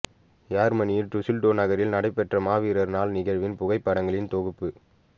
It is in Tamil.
யேர்மனியில் டுசில்டோவ் நகரில் நடைபெற்ற மாவீரர் நாள் நிகழ்வின் புகைப்படங்களின் தொகுப்பு